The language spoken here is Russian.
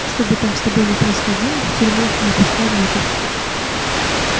что бы там с тобой ни происходило в тюрьме не пускай внутрь